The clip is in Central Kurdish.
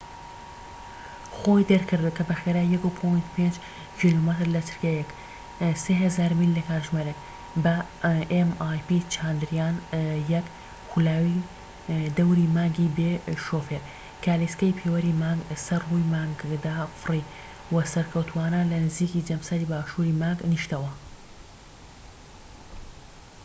چانداریان-1، خولاوی دەوری مانگی بێ شوفێر، گالیسکەی پێوەری مانگ mip خۆی دەرکرد، کە بە خێرایی 1.5 کیلۆمەتر لە چرکەیەک 3000 میل لە کاتژمێرێک بە سەر ڕووی مانگدا فڕی، و سەرکەوتووانە لە نزیکی جەمسەری باشووری مانگ نیشتەوە